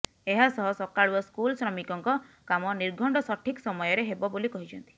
ଏହାସହ ସକାଳୁଆ ସ୍କୁଲ ଶ୍ରମିକଙ୍କ କାମ ନିର୍ଘଣ୍ଟ ସଠିକ ସମୟରେ ହେବ ବୋଲି କହିଛନ୍ତି